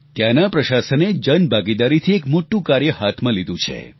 ત્યાંના પ્રશાસને જનભાગીદારીથી એક મોટું કાર્ય હાથમાં લીધું છે